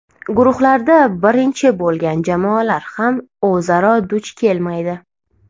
Guruhlarda birinchi bo‘lgan jamoalar ham o‘zaro duch kelmaydi.